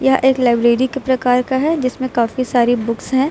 यह एक लाइब्रेरी के प्रकार का है जिसमें काफी सारी बुक्स है।